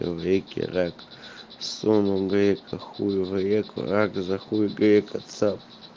в реке рак сунул грека хуй в реку рак за хуй грека цап